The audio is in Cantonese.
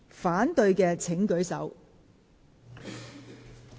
反對的請舉手。